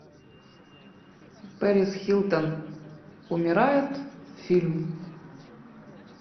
пэрис хилтон умирает фильм